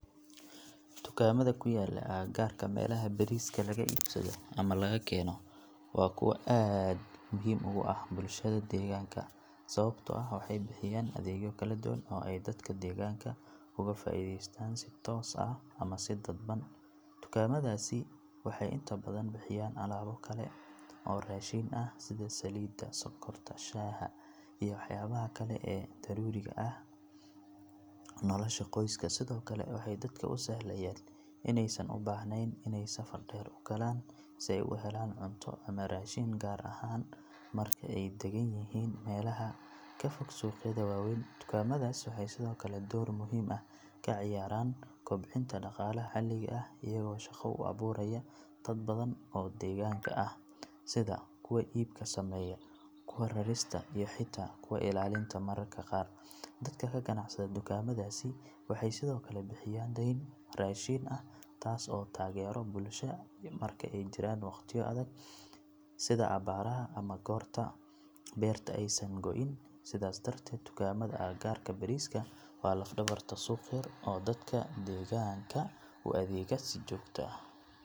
Tukamada ku yaalla agagaarka meelaha bariiska laga iibsado ama laga keeno waa kuwo aad muhiim ugu ah bulshada deegaanka sababtoo ah waxay bixiyaan adeegyo kala duwan oo ay dadka deegaanka uga faa’iidaystaan si toos ah ama si dadban tukamadaasi waxay inta badan bixiyaan alaabo kale oo raashin ah sida saliidda, sonkorta, shaaha iyo waxyaabaha kale ee daruuriga u ah nolosha qoyska sidoo kale waxay dadka u sahlayaan inaysan u baahnayn inay safar dheer u galaan si ay u helaan cunto ama raashin gaar ahaan marka ay degan yihiin meelaha ka fog suuqyada waaweyn tukamadaas waxay sidoo kale door muhiim ah ka ciyaaraan kobcinta dhaqaalaha maxalliga ah iyagoo shaqo u abuuraya dad badan oo deegaanka ah sida kuwa iibka sameeya, kuwa rarista iyo xataa kuwa ilaalinta mararka qaar dadka ka ganacsada tukaamadaasi waxay sidoo kale bixiyaan deyn raashin ah taasoo ah taageero bulsho marka ay jiraan waqtiyo adadag sida abaaraha ama goorta beertu aysan soo go’in sidaas darteed tukaamada agagaarka bariiska waa laf-dhabarta suuq yar oo dadka deegaanka u adeega si joogto ah.